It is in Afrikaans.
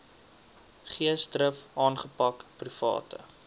geesdrif aangepak private